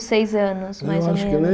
Seis anos, mais ou menos. Eu acho que nem